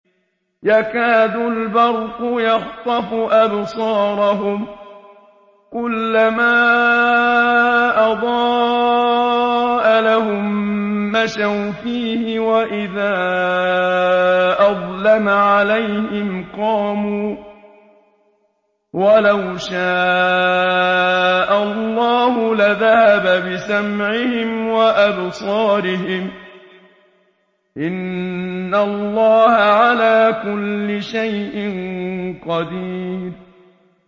يَكَادُ الْبَرْقُ يَخْطَفُ أَبْصَارَهُمْ ۖ كُلَّمَا أَضَاءَ لَهُم مَّشَوْا فِيهِ وَإِذَا أَظْلَمَ عَلَيْهِمْ قَامُوا ۚ وَلَوْ شَاءَ اللَّهُ لَذَهَبَ بِسَمْعِهِمْ وَأَبْصَارِهِمْ ۚ إِنَّ اللَّهَ عَلَىٰ كُلِّ شَيْءٍ قَدِيرٌ